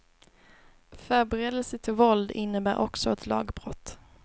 Förberedelse till våld innebär också ett lagbrott.